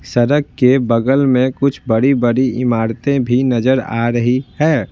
सड़क के बगल में कुछ बड़ी-बड़ी इमारतें भी नजर आ रही है।